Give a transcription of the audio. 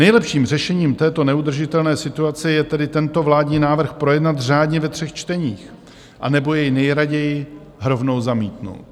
Nejlepším řešením této neudržitelné situace je tedy tento vládní návrh projednat řádně ve třech čteních, anebo jej nejraději rovnou zamítnout.